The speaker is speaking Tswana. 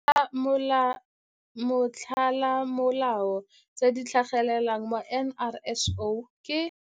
Dintlha tsa motlolamolao tse di tlhagelelang mo go NRSO ke.